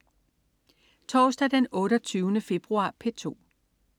Torsdag den 28. februar - P2: